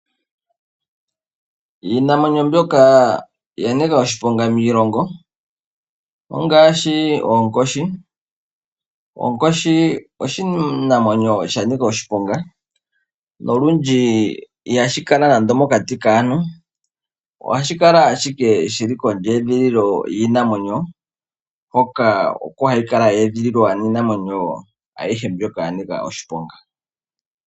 Iinamwenyo mbyoka ya nika oshiponga miilongo, ongaashi oonkoshi. Oonkoshi oshinamwenyo sha nika oshiponga, nolundji ihashi kala nande mokati kaantu, ohashi kala shike shili kondjedhililo yiinamwenyo, hoka oko hayi kala ya edhililwa niinamwenyo ayihe mbyoka ya nika oshiponga.